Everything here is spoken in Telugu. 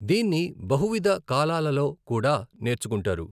దీన్ని బాహువిధ కాలాలలో కూడా నేర్చుకుంటారు.